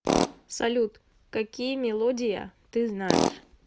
салют какие мелодия ты знаешь